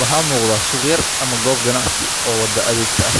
Waxaa muuqata suuq yar ama goob ganacsi oo waddo agteeda ah,